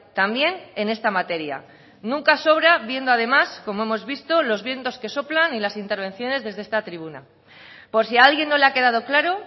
también en esta materia nunca sobra viendo además como hemos visto los vientos que soplan y las intervenciones desde esta tribuna por si a alguien no le ha quedado claro